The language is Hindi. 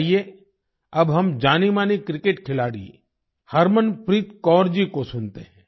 आइए अब हम जानीमानी क्रिकेट खिलाड़ी हरमनप्रीत कौर जी को सुनते हैं